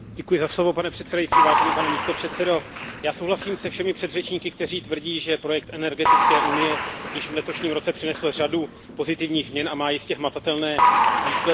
Pane předsedající, já souhlasím se všemi předřečníky, kteří tvrdí, že projekt energetické unie již v letošním roce přinesl řadu pozitivních změn a má jistě hmatatelné výsledky.